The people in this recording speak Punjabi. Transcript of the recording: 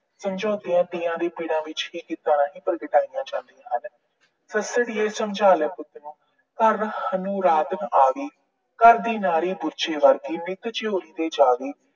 ਪੀੜਾਂ ਵੀ ਇਦਾਂ ਹੀ ਪ੍ਰਗਟਾਇਆ ਜਾਂਦੀਆਂ ਹਨ। ਸੱਸੜੀਏ ਸਮਝਾ ਲੈ ਪੁੱਤ ਨੂੰ, ਘਰ ਹੁਣ ਰਾਤ ਨੂੰ ਆਵੇ। ਘਰ ਦੀ ਨਾਰ ਗੁੱਛੇ ਵਰਗੀ, ਨਿੱਤ ਝਿਊਰੀ ਦੇ ਜਾਵੇ।